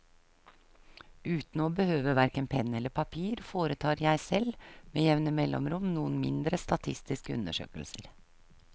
Uten å behøve hverken penn eller papir foretar jeg selv med jevne mellomrom noen mindre statistiske undersøkelser.